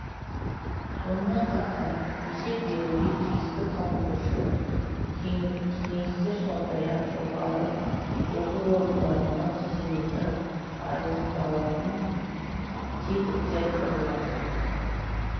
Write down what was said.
сонымен қатар есеп беруге тиісті қамқоршылық кеңестер сондай-ақ жоғары оқу орындарының қызметі айқындалатын тетіктер құрылады